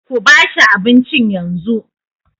Kuba shi abincin yanzu.